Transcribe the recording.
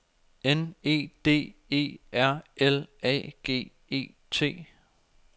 N E D E R L A G E T